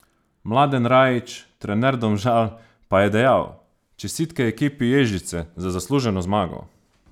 Mladen Rajić, trener Domžal, pa je dejal: "Čestitke ekipi Ježice za zasluženo zmago.